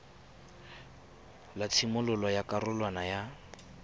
la tshimololo ya karolwana ya